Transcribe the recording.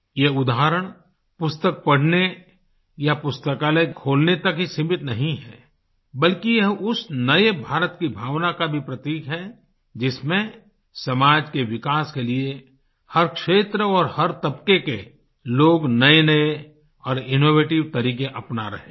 ये उदाहरण पुस्तक पढ़ने या पुस्तकालय खोलने तक ही सीमित नहीं है बल्कि यह उस नए भारत की भावना का भी प्रतीक है जिसमें समाज के विकास के लिए हर क्षेत्र और हर तबके के लोग नएनए और इनोवेटिव तरीके अपना रहे हैं